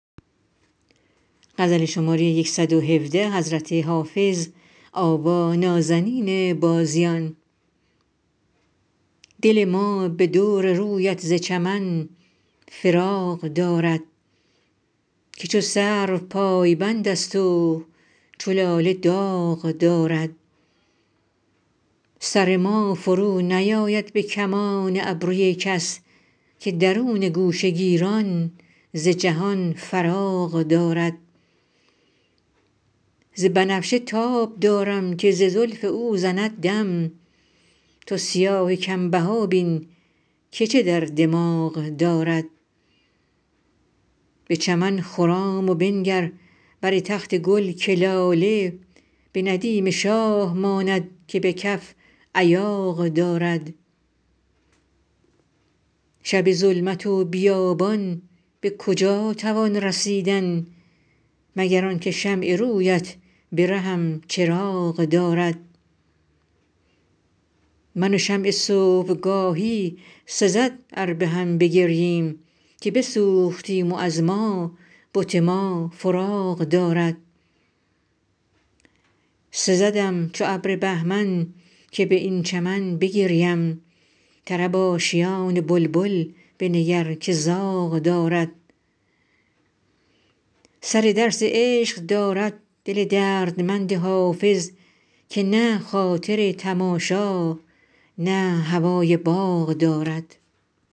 دل ما به دور رویت ز چمن فراغ دارد که چو سرو پایبند است و چو لاله داغ دارد سر ما فرونیآید به کمان ابروی کس که درون گوشه گیران ز جهان فراغ دارد ز بنفشه تاب دارم که ز زلف او زند دم تو سیاه کم بها بین که چه در دماغ دارد به چمن خرام و بنگر بر تخت گل که لاله به ندیم شاه ماند که به کف ایاغ دارد شب ظلمت و بیابان به کجا توان رسیدن مگر آن که شمع روی ات به رهم چراغ دارد من و شمع صبح گاهی سزد ار به هم بگرییم که بسوختیم و از ما بت ما فراغ دارد سزدم چو ابر بهمن که بر این چمن بگریم طرب آشیان بلبل بنگر که زاغ دارد سر درس عشق دارد دل دردمند حافظ که نه خاطر تماشا نه هوای باغ دارد